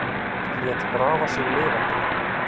Lét grafa sig lifandi